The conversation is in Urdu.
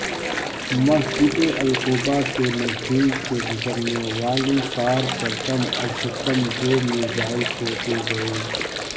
مسجد القباء کے نزدیک سے گزرنے والی کار پر کم از کم دو میزائل پھینکےگئے